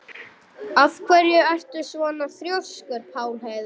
Af hverju ertu svona þrjóskur, Pálheiður?